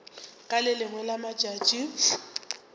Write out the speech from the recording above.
ka le lengwe la matšatši